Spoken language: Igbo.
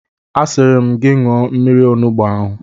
Asịrị m gị ṅụọ mmiri onugbu ahụ!